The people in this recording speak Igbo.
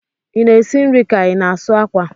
I na-esi nri ka ị na-asụ akwa?